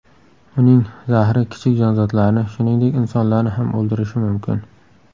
Uning zahri kichik jonzotlarni, shuningdek, insonlarni ham o‘ldirishi mumkin.